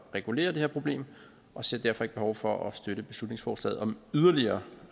regulere det her problem og ser derfor ikke behov for at støtte beslutningsforslaget om yderligere